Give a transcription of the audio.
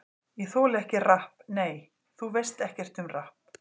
Ég þoli ekki rapp Nei, þú veist ekkert um rapp.